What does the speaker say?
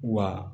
Wa